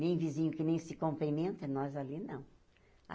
Tem vizinho que nem se comprimenta, nós ali não.